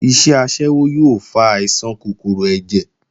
Iṣẹ́ aṣẹ́wó yóò fa àìsàn kòkòrò ẹ̀jẹ̀